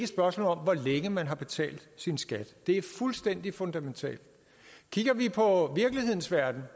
spørgsmål om hvor længe man har betalt sin skat det er fuldstændig fundamentalt kigger vi på virkelighedens verden